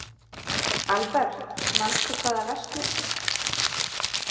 Albert, manstu hvað verslunin hét sem við fórum í á mánudaginn?